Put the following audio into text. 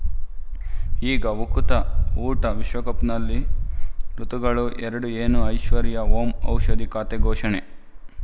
ಈಗ ಉಕುತ ಊಟ ವಿಶ್ವಕಪ್‌ನಲ್ಲಿ ಋತುಗಳು ಎರಡು ಏನು ಐಶ್ವರ್ಯಾ ಓಂ ಔಷಧಿ ಖಾತೆ ಘೋಷಣೆ